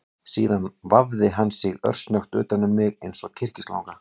Síðan vafði hann sig örsnöggt utan um mig eins og kyrkislanga